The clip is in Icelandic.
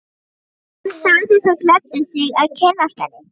Hann sagði það gleddi sig að kynnast henni.